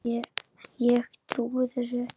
Ég trúi þessu ekki!